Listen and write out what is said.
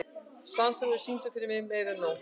Svanþrúður, syngdu fyrir mig „Meira En Nóg“.